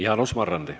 Jaanus Marrandi.